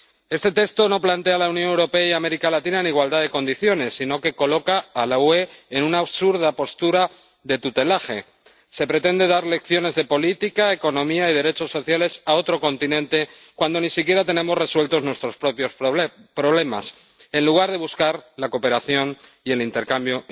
Este texto no sitúa a la Unión Europea y América Latina en igualdad de condiciones, sino que coloca a la Unión en una absurda postura de tutelaje. Se pretenden dar lecciones de política, economía y derechos sociales a otro continente cuando ni siquiera tenemos resueltos nuestros propios problemas, en lugar de buscar la cooperación y el intercambio